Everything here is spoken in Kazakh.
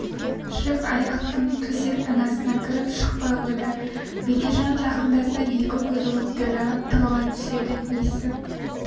жүк аяқтың төсектің астына кіріп шықпай қойды бекежан жақындаса екі көзі оттай жанып тығыла түседі есік